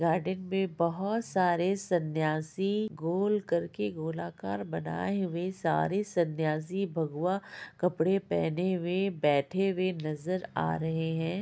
Garden में बहुत सारे सन्यासी गोल कर के गोलाकर बनाये हुए सारे सन्यासी भगवा कपड़ा पहने हुए बैठे हुए नजर आ रहे हैं ।